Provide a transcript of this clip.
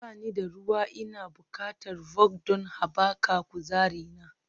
Ba ni da ruwa Ina buƙatar Vault don haɓaka kuzarina